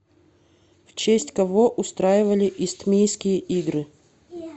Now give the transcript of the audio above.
в честь кого устраивали истмийские игры